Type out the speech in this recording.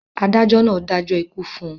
adájọ náà dájọ́ ikú fún un